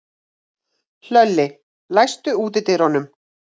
Hlölli, læstu útidyrunum.